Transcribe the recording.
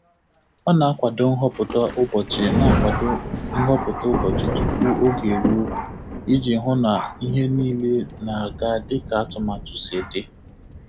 Ọ na-akwado nhọpụta ụbọchị na-akwado nhọpụta ụbọchị tupu oge eruo iji hụ na ihe niile na-aga dịka atụmatụ si dị.